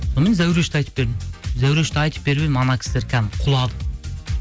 сонымен зәурешті айтып бердім зәурешті айтып беріп едім анау кісілер кәдімгі құлады